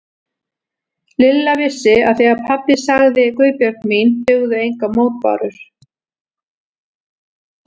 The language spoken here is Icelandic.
Lilla vissi að þegar pabbi sagði Guðbjörg mín dugðu engar mótbárur.